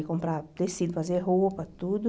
Ia comprar tecido, fazer roupa, tudo.